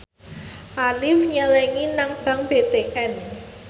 Arif nyelengi nang bank BTN